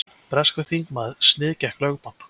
Breskur þingmaður sniðgekk lögbann